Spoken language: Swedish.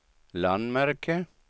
landmärke